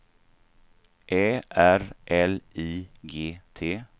Ä R L I G T